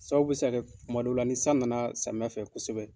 Sababu be se ka kɛ kumadɔw la ni san nana samiya fɛ kosɛbɛ